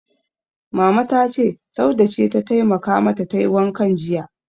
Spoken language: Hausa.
Mama ta ce, Saude ce ta taimaka mata tayi wankan jiya.